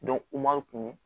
u m'an kun